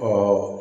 Aa